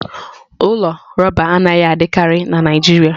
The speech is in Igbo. Ụlọ rọba anaghị adịkarị na Naijiria